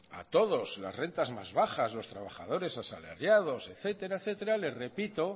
a todos las rentas más bajas los trabajadores asalariados etcétera etcétera les repito